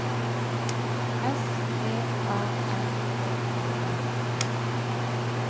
S V A N H I L D